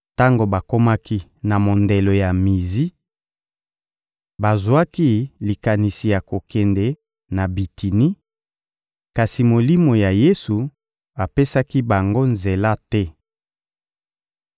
Tango bakomaki na mondelo ya Mizi, bazwaki likanisi ya kokende na Bitini, kasi Molimo ya Yesu apesaki bango nzela te.